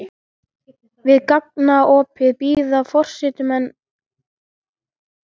Við gangaopið bíða forystumenn Landsvirkjunar, sýslunefndarmenn, blaðamenn og ljósmyndarar.